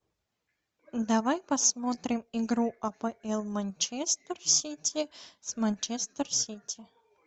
давай посмотрим игру апл манчестер сити с манчестер сити